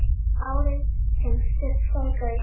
Árið sem Surtsey gaus.